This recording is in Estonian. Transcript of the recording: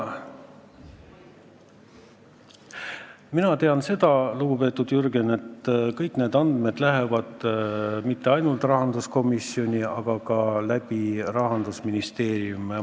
Mina tean seda, lugupeetud Jürgen, et kõik need andmed ei lähe mitte ainult rahanduskomisjonist läbi, vaid käivad ka Rahandusministeeriumist läbi.